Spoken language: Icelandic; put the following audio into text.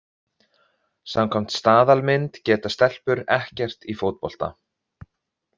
Samkvæmt staðalmynd geta stelpur ekkert í fótbolta.